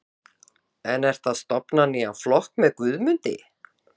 Lóa: En ertu að stofna nýjan flokk með Guðmundi?